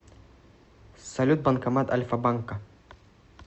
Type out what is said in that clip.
салют банкомат альфа банка